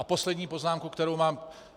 A poslední poznámka, kterou mám.